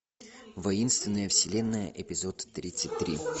воинственная вселенная эпизод тридцать три